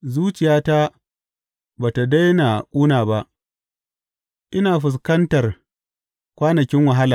Zuciyata ba tă daina ƙuna ba; ina fuskantar kwanakin wahala.